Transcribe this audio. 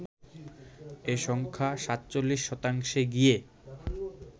এ সংখ্যা ৪৭ শতাংশে গিয়ে